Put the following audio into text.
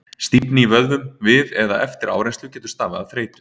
stífni í vöðvum við eða eftir áreynslu getur stafað af þreytu